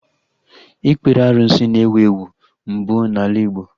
Ikpere arụsị na-ewu ewu mbụ n'ala Igbo